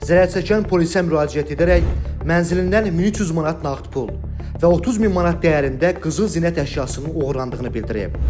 Zərərçəkən polisə müraciət edərək mənzilindən 1300 manat nağd pul və 30000 manat dəyərində qızıl zinət əşyasının oğurlandığını bildirib.